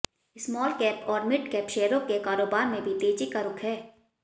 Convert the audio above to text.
small cap और mid cap शेयरों के कारोबार में भी तेजी का रुख है